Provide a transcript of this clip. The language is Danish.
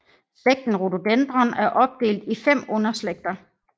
Slægten Rododendron er opdelt i fem underslægter